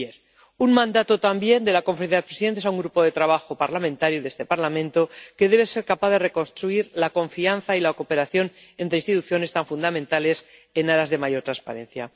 2010. Hay un mandato también de la Conferencia de Presidentes a un grupo de trabajo parlamentario —de este Parlamento— que debe ser capaz de reconstruir la confianza y la cooperación entre instituciones, tan fundamentales en aras de mayor transparencia.